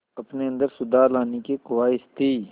अपने अंदर सुधार लाने की ख़्वाहिश थी